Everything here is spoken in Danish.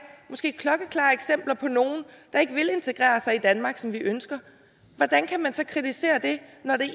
måske klokkeklare eksempler på nogle der ikke vil integrere sig i danmark som vi ønsker hvordan kan man så kritisere det når det